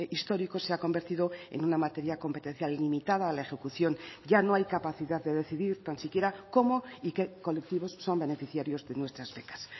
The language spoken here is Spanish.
históricos se ha convertido en una materia competencial limitada a la ejecución ya no hay capacidad de decidir tan siquiera cómo y qué colectivos son beneficiarios de nuestras becas